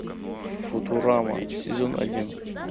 футурама сезон один